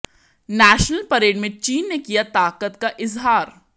national parade में चीन ने किया ताकत का इजहार